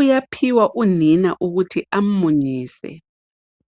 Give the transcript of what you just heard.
uyaphiwa unina ukuthi amunyise.